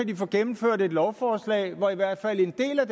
de få gennemført et lovforslag hvor i hvert fald en del af